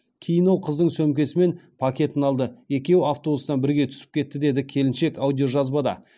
кейін ол қыздың сөмкесі мен пакетін алды екеуі автобустан бірге түсіп кетті деді келіншек аудиожазбада